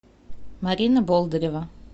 марина болдырева